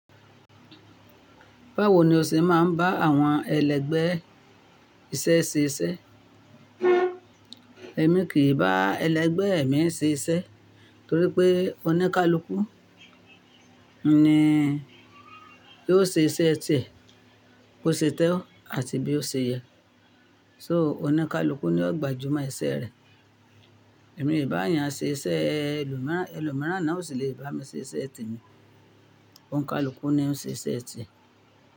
Báwo ni o ṣe máa ń bá àwọn ẹlẹgbẹ́ iṣẹ́ ṣe iṣẹ́? Èmi kì í bá ẹlẹgbẹ́ mi ṣe iṣẹ́ torí pé ọ̀nikálúkú ni yóò ṣe iṣẹ́ tìẹ, bó ṣe tọ́ àti bí ó ṣe yẹ. So ọ̀nikálúkú ni yóò gbajúmọ̀ iṣẹ́ rẹ. Èmi ì bá èèyàn ṣe iṣẹ́ ẹlòmíràn ẹlòmíràn náà o sì le bá mi ṣe iṣẹ́ tì mí. Òǹkálúkú ni ó ń ṣe iṣẹ́ tìe.